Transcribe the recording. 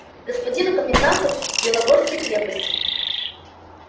господину коменданту белогорской крепости